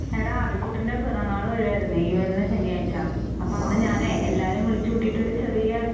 എടാ അതു കുട്ടൻ്റെ പിറന്നാള് വരുമായിരുന്നേ ഈ വരുന്ന ശനിയാഴ്ച. അപ്പോ അന്ന് ഞാനെ എല്ലാവരെയും വിളിച്ചു കൂട്ടിയിട്ട് ഒരു ചെറിയ